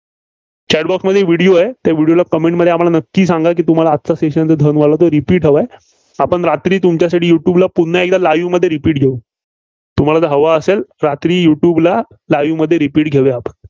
Chat Box मध्ये Video आहे. त्या video ला comment मध्ये नक्की सांगा की तुम्हाला आजचं Session जे धनवालं ते Repeat हवं आहे. आपण रात्री तुमच्यासाठी युट्यूबला पुन्हा एकदा live मध्ये repeat घेऊ. तुम्हाला जर हवं असेल रात्री युट्यूबला live मध्ये repeat घेऊया.